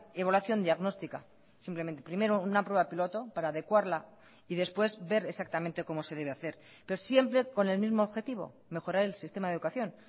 evaluación diagnóstica simplemente primero una prueba piloto para adecuarla y después ver exactamente cómo se debe hacer pero siempre con el mismo objetivo mejorar el sistema de educación